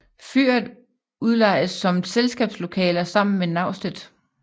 Fyret udlejes som selskabslokaler sammen med naustet